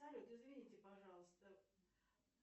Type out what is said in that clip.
салют извините пожалуйста